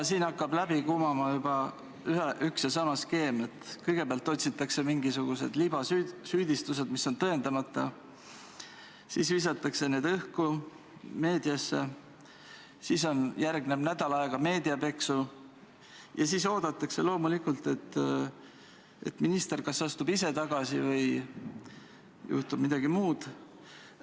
Siit hakkab läbi kumama üks ja sama skeem: kõigepealt otsitakse mingisuguseid libasüüdistusi, mis on tõendamata, siis visatakse need meedia jaoks õhku, järgneb nädal aega meediapeksu ja siis oodatakse loomulikult, et minister kas astub ise tagasi või juhtub midagi muud.